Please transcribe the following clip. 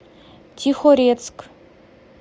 тихорецк